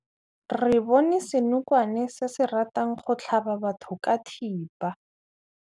Re bone senokwane se se ratang go tlhaba batho ka thipa.